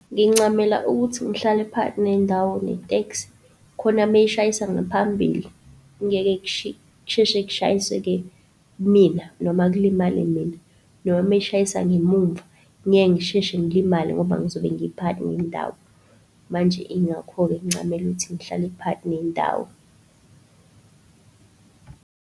Ngincamela ukuthi ngihlale phakathi nendawo ne-taxi khona mayishayisa ngaphambili, kungeke kusheshe kushayiseke kimina noma kulimale mina, noma meyishayisa ngemuva ngeke ngisheshe ngilimale ngoba ngizobe ngiphakathi nendawo. Manje ingakho-ke ngincamela ukuthi ngihlale phakathi nendawo.